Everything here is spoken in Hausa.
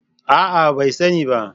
A'a! bai sani ba.